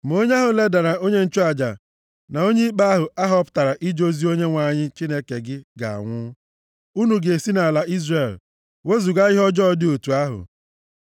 Ma onye ahụ ledara onye nchụaja na onye ikpe ahụ a họpụtara ije ozi nye Onyenwe anyị Chineke gị ga-anwụ. Unu ga-esi nʼala Izrel wezuga ihe ọjọọ dị otu ahụ.